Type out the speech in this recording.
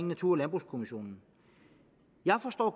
natur og landbrugskommissionen jeg forstår